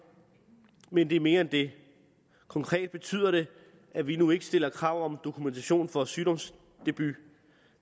men det er mere end det konkret betyder det at vi nu ikke stiller krav om dokumentation for sygdomsdebut